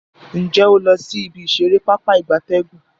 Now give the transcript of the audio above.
Nje o lo si ibi isere Pápá ìgbatẹ́gùn?